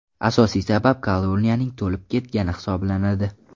Asosiy sabab koloniyaning to‘lib ketgani hisoblanadi.